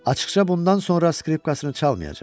Açıqca bundan sonra skripkasını çalmayacaq.